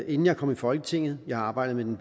inden jeg kom i folketinget jeg har arbejdet med den